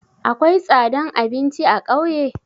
Akwai tsadan abinci a ƙauye?